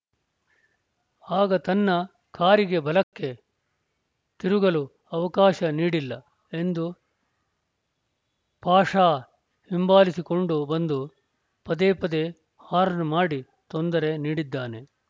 ಆಗ ತನ್ನ ಕಾರಿಗೆ ಬಲಕ್ಕೆ ತಿರುಗಲು ಅವಕಾಶ ನೀಡಿಲ್ಲ ಎಂದು ಪಾಷಾ ಹಿಂಬಾಲಿಸಿಕೊಂಡು ಬಂದು ಪದೇಪದೇ ಹಾರ್ನ್‌ ಮಾಡಿ ತೊಂದರೆ ನೀಡಿದ್ದಾನೆ